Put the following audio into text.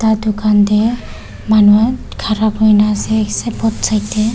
la dukan te manu khan khara kuri ne ase both side te.